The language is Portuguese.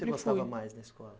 O que você gostava mais na escola?